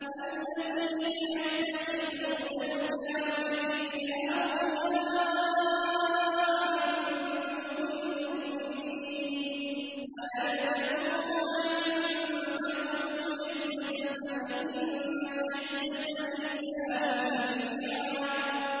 الَّذِينَ يَتَّخِذُونَ الْكَافِرِينَ أَوْلِيَاءَ مِن دُونِ الْمُؤْمِنِينَ ۚ أَيَبْتَغُونَ عِندَهُمُ الْعِزَّةَ فَإِنَّ الْعِزَّةَ لِلَّهِ جَمِيعًا